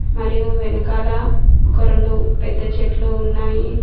మరియు వెనకాల ఒక రొండు పెద్ద చెట్లు ఉన్నాయి.